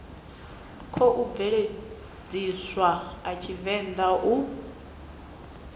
khou bveledzwa a tshivenḓa uri